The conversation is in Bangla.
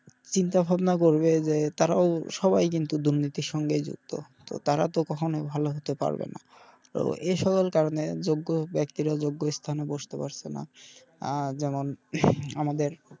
চিন্তা ভাবনা করবে যে তারাও সবাই কিন্তু দুর্নীতির সঙ্গে যুক্ত তো তারা তো কখনো ভালো হতে পারবে না। তো এ সকল কারনে যোগ্য বেক্তির জন্য এরা যোগ্য স্থানে বসতে পারছে না আহ যেমন আমাদের,